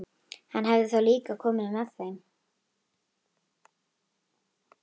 Hann hefði þá líka komið með þeim.